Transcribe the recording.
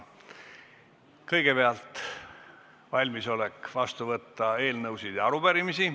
Kõigepealt on mul valmisolek vastu võtta eelnõusid ja arupärimisi.